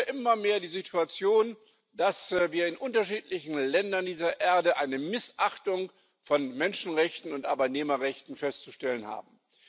Wir haben ja immer mehr die Situation, dass wir in unterschiedlichen Ländern dieser Erde eine Missachtung von Menschenrechten und Arbeitnehmerrechten festzustellen haben.